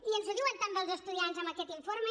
i ens ho diuen també els estudiants amb aquest informe